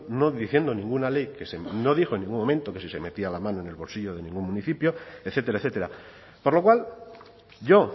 no diciendo ninguna ley no dijo en ningún momento que si se metía la mano en el bolsillo de ningún municipio etcétera etcétera por lo cual yo